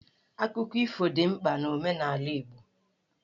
Akụkọ ifo dị mkpa n'omenala Igbo.